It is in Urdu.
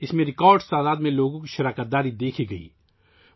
اس میں لوگوں کی ریکارڈ تعداد میں شرکت دیکھی گئی